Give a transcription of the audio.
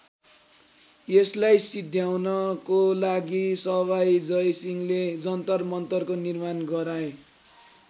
यसलाई सिध्याउनको लागि सवाई जय सिंहले जन्तर मन्तरको निर्माण गराए।